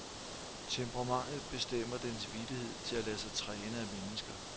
Temperamentet bestemmer dens villighed til at lade sig træne af mennesker.